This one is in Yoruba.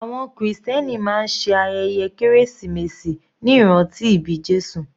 Àwọn krìstẹ́nì máa ṣe ayẹyẹ kérésìmesì ní ìrántí ìbí Jésù.